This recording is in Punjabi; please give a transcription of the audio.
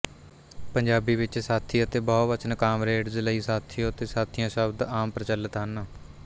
ਪੰਜਾਬੀ ਵਿੱਚ ਸਾਥੀ ਅਤੇ ਬਹੁਵਚਨ ਕਾਮਰੇਡਜ ਲਈ ਸਾਥੀਓ ਅਤੇ ਸਾਥੀਆਂ ਸ਼ਬਦ ਆਮ ਪ੍ਰਚਲਿਤ ਹਨ